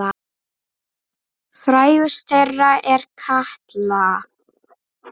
Frægust þeirra er Katla.